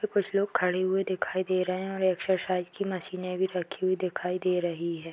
कुछ लोग खड़े हुए दिखाई दे रहे हैं और एक्सरसाइज की मशीनें भी रखी हुई दिखाई दे रही है।